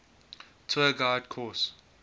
tour guide course